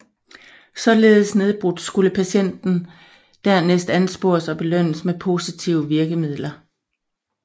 Således nedbrudt skulle patienten dernæst anspores og belønnes med positive virkemidler